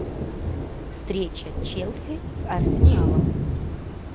встреча челси с арсеналом